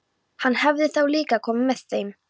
Hann hefði þá líka komið með þeim.